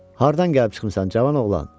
Hardan gəlib çıxmısan, cavan oğlan?